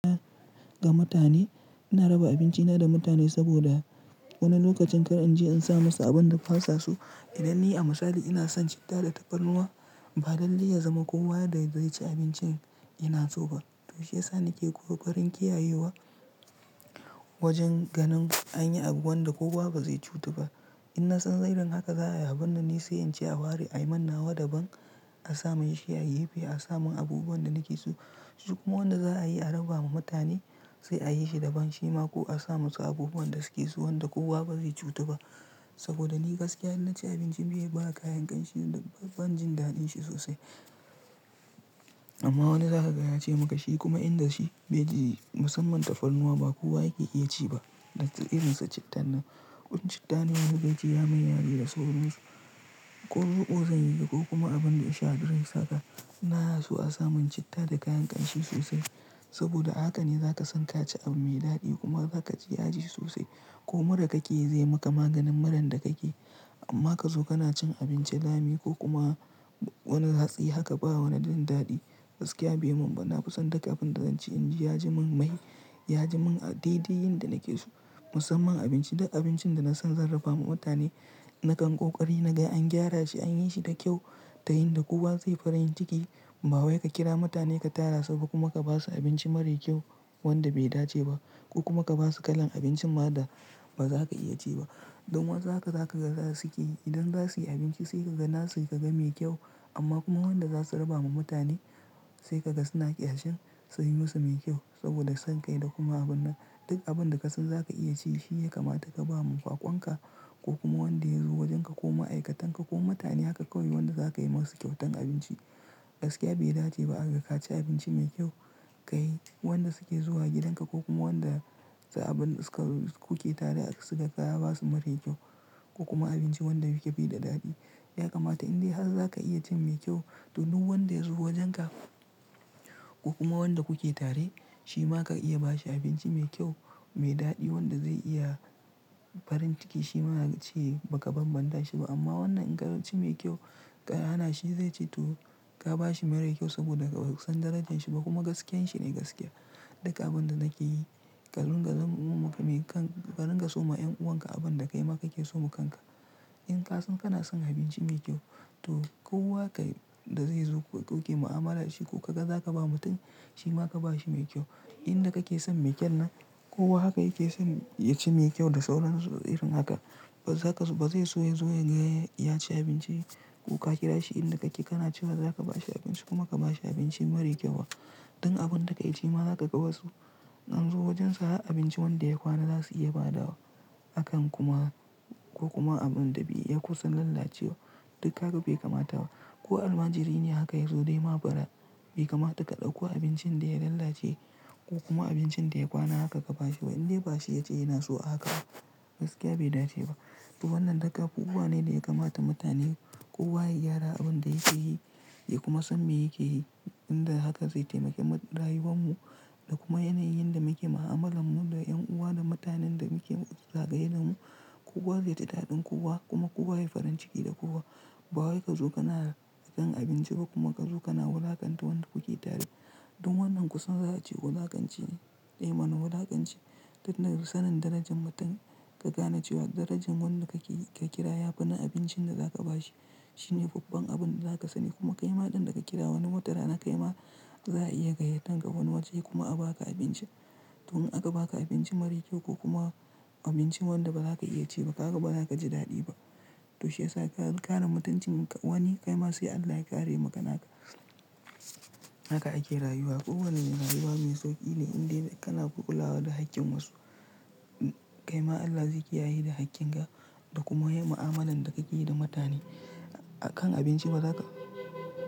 Ga mutane, ina raba abincina da mutane saboda wani lokacin kar in je an sa musu abin da fasa so. Idan ni a misali ina son citta da tafarnuwa ba dalili ya zama kowa da zai ci abincin yana so ba. Toshi yasa ni ke ƙoƙarin kiyayewa wajen ganin anyi abu wanda kowa ba zai cutu ba. Ina son irin haka za'a yi, a bar na ni sai in ce a ware a yi mannawa da ban a samu yashiya yife a samun abubuwan da nake so. Kuma wanda za'a yi a raba ma mutane sai a yi shi da ban shima ko a sa musu abubuwan da suke so wanda kowa ba zai cutu ba. Saboda ni gaskiya in na ci abinci bai ba kayan ƙanshi ban jin daɗin shi sosai. Amma wani zaka gaya ce maka shi kuma inda shi bai ji musamman tafarnuwa ba kowa yake iya ci ba. Datti irin su cittan nan. Wan citta ne yafi ba shi ya mai yare da sauransu. Ko ruƙo zan yi ko kuma abin da ya sha girka saka. Na so a samun citta da kayan ƙanshi sosai. Saboda haka ne zaka san ka ci abu mai daɗi kuma za ka ji yaji sosai. Ko mura ka ke zai maka maganin muran da kake. Amma ka zo kana cin abinci lami ko kuma wani hatsi haka ba wani jin daɗi. Gaskiya bai mun ba. Na fi son duk abin da zan ci in ji ya ji mun mai, ya ji mun a daidai yin da nake so. Musamman abinci duk abincin da na san zan raba ma mutane nakan ƙoƙari na ga an gyara shi an yi shi da kyau ta yin da kowa zai farin ciki. Ba wai ka kira mutane ka tara su ba kuma ka ba su abinci mara kyau wanda bai dace ba. Ko kuma ka ba su kalan abinci ma da ba za ka iya ci ba. Dun wansu haka zaka ga za su ƙeyi. Idan za su yi abinci sai ka ga nasi ka ga mai kyau. Amma kuma wanda za su raba ma mutane sai ka ga suna ƙyashin su yi musu mai kyau saboda sanka da kuma abun nan. Duk abin da ka san za ka iya ci shi ya kamata ka ba ma bakwan ka ko kuma wanda ya zo wajen ka ko ma'aikatan ka ko mutanen ka kawai wanda za ka yi ma su kyautan abinci. Gaskiya bai dace ba aga ka ci abinci mai kyau ka yi wanda suke zuwa gidan ka ko kuma wanda su abun suka ku ke tare aka suka ka ba su mara kyau. Ko kuma abinci wanda yake fike bai da daɗi. Ya kamata indai har za ka iya cin mai kyau to duk wanda ya zo wajen ka ko kuma wanda kuke tare shima ka iya ba shi abinci mai kyau mai daɗi wanda zai iya farin ciki shima yace a ka banbanta shi ba. Amma wannan in ka ci mai kyau ka hana shi zai ce to ka ba shi mara kyau saboda ka san darajan shi ba kuma gaskiyan shi ne gaskiya. Duk abin da nake yi karunga zama uwa maka mai kan karinga so ma yan'uwan ka abin da kaima ka ke so mu kanka. In ka san kana son abinci mai kyau to kowa ka da zai zo ko ka ƙi mu'amala shi ko ka ga za ka ba mutum shima ka ba shi mai kyau. Inda kake son mai kyan nan kowa haka yake son ya ci mai kyau da sauran irin haka. Ba zaka ba zai so ya zo ya gaya ya ci abinci ko ka kira shi inda kake kana cewa za ka ba shi abinci kuma ka ba shi abinci mara kyau. Dun abun da ka yi shi ma za ka ga basu in an zo wajen su ha abinci wanda ya kwana za su iya ba da wa. Akan kuma ko kuma abun da bai iya kusan lalace wa duk haka bai kamata ba. Ko almajiri ne haka ya zo dai ma bara bai kamata ka ɗauko abincin da ya lalace ko kuma abincin da ya kwana haka ka ba shi ba. Indai ba shi ya ce yana so haka ba gaskiya bai dace ba. To wannan duk abu buwa ne da ya kamata mutane kowa ya gyara abin da yake yi ya kuma san me yake yi. Inda haka zai taimake rayuwan mu da kuma yanayin da muke mu'amala mu da yan'uwa da mutanen da muke zagaye da mu. Kowa zai ji daɗin kowa kuma kowa ya yi farin ciki da kowa. Ba wai ka zo kana kan abinci ba kuma ka zo kana wulakanta wanda kuke tare. Dun wannan kusan za a ce ko za ka ci ne eh ma na wulakanci. Duk nan sanin darajan mutum ka gane cewa darajan wannan ka kira ya fi na abincin da za ka ba shi. Shi ne babban abun da za ka sani kuma kaima ɗan da ka kira wani motara na kaima za a iya gayyatan ka wani waje kuma a ba ka abinci. To in aka ba ka abinci mara kyau ko kuma abincin wanda ba za ka iya ci ba kaga ba za ka ji daɗi ba. Toshi yasa ka karemutancin wani kai ma sai Allah ya kare maka naka. Haka ake rayuwa kowa ne rayuwa mai sauƙi ne indai kana kulawa da haƙƙin wasu. Kaima Allah zai ƙiyaye da haƙƙin ka da kuma ya yi mu'amalan da ka yi da mutane a kan abinci bazaka.